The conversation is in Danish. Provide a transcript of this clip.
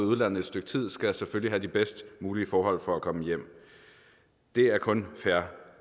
udlandet et stykke tid skal selvfølgelig have de bedst mulige forhold for at komme hjem det er kun fair